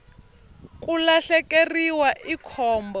ku lahlekeriwa i khombo